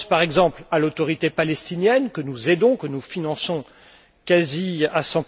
Je pense par exemple à l'Autorité palestinienne, que nous aidons, que nous finançons quasi à